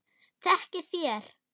Þekkið þér